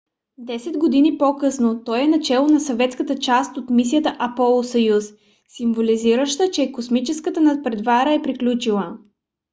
десет години по-късно той е начело на съветската част от мисията аполо–съюз символизираща че е космическата надпревара е приключила